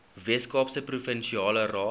weskaapse provinsiale raad